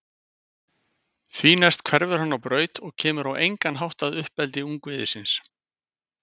Því næst hverfur hann á braut og kemur á engan hátt að uppeldi ungviðisins.